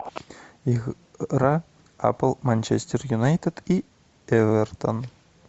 игра апл манчестер юнайтед и эвертон